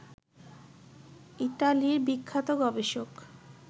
ইতালির বিখ্যাত গবেষক